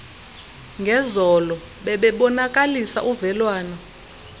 ngezolo bebebonakalisa uvelwane